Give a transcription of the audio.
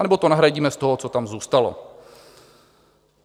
Anebo to nahradíme z toho, co tam zůstalo.